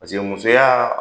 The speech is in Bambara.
Paseke musoya.